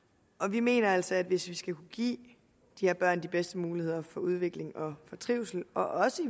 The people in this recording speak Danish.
vi mener altså at hvis vi skal give de her børn de bedste muligheder for udvikling og for trivsel og også